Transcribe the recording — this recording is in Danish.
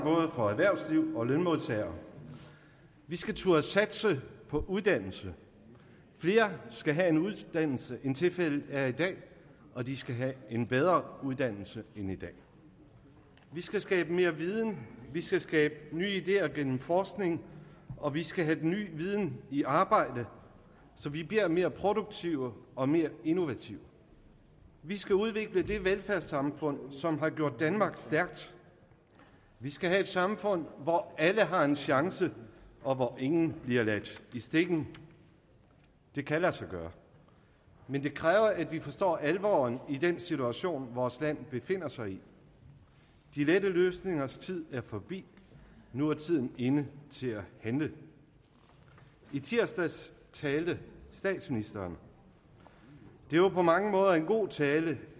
for både erhvervsliv og lønmodtagere og vi skal turde satse på uddannelse flere skal have en uddannelse end tilfældet er i dag og de skal have en bedre uddannelse end i dag vi skal skabe mere viden vi skal skabe nye ideer gennem forskning og vi skal have den nye viden i arbejde så vi bliver mere produktive og mere innovative vi skal udvikle det velfærdssamfund som har gjort danmark stærkt vi skal have et samfund hvor alle har en chance og hvor ingen bliver ladt i stikken det kan lade sig gøre men det kræver at vi forstår alvoren i den situation vores land befinder sig i de lette løsningers tid er forbi nu er tiden inde til at handle i tirsdags talte statsministeren og det var på mange måder en god tale